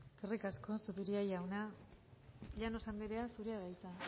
eskerrik asko zupiria jauna llanos anderea zurea da hitza